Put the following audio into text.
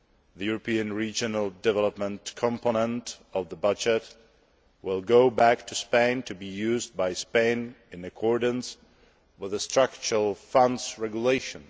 The European regional development component of the budget will go back to Spain to be used by Spain in accordance with the Structural Funds Regulation.